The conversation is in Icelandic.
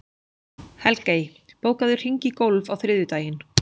Helgey, bókaðu hring í golf á þriðjudaginn.